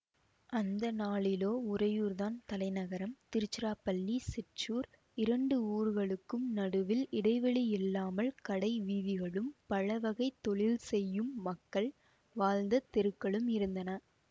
அந்த நாளிலோ உறையூர் தான் தலைநகரம் திருச்சிராப்பள்ளி சிற்றூர் இரண்டு ஊர்களுக்கும் நடுவில் இடைவெளியில்லாமல் கடை வீதிகளும் பலவகைத் தொழில் செய்யும் மக்கள் வாழ்ந்த தெருக்களும் இருந்தன